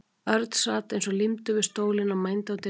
Örn sat eins og límdur við stólinn og mændi á dyrnar.